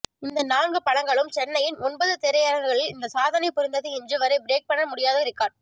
இந்த நான்கு படங்களும் சென்னையின் ஒன்பது திரையரங்குகளில் இந்த சாதனை புரிந்தது இன்று வரை பிரேக் பண்ண முடியாத ரிகார்ட்